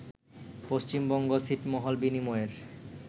পশ্চিমবঙ্গ ছিটমহল বিনিময়ের